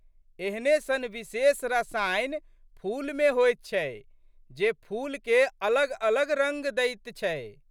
एहने सन विशेष रसायन फूलमे होइत छै जे फूलके अलगअलग रंग दैत छै।